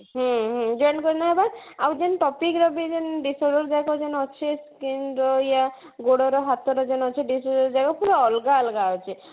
ହୁଁ ହୁଁ ଯେନ କେନ ହେଇ ବା ଆଉ ଯେଉଁ topic ର ବି ଯେନ disorder ଯାକ ଯେନ ଅଛି skin ର ୟା ଗୋଡର ହାତର ଯେନ ଅଛି disorder ଯାକ ପୁରା ଅଲଗା ଅଲଗା ଅଛି